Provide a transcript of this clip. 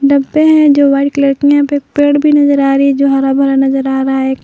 डब्बे हैं जो व्हाइट कलर के यहाँ पे पेड़ भी नजर आ रही जो हरा भरा नजर आ रहा है।